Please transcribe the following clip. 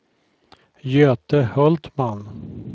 Göte Hultman